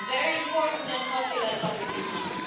A very important and popular topic indeed.